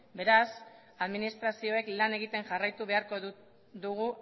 beraz administrazioek lan egiten jarraitu beharko dugu